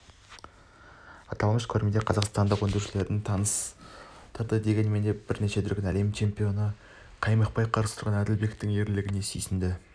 аталмыш көрмеде қазақстандық өндірушілерді таныстырды дегенмен бірнеше дүркін әлем чемпионына қаймықпай қарсы тұрған әділбектің ерлігіне сүйсінді